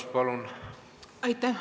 Aitäh!